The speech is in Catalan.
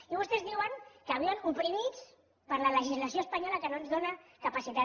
i vostès diuen que viuen oprimits per la legislació espanyola que no ens dóna capacitat